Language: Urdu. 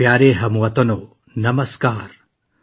میرے پیارے ہم وطنو، نمسکار!